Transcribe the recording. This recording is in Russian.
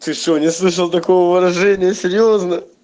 ты что не слышал такого выражения серьёзно